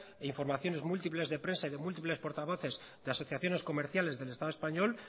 informaciones múltiples de prensa y de múltiples portavoces de asociaciones comerciales del estado español